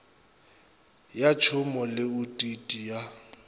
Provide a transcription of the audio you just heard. ya tšhomo le otiti ya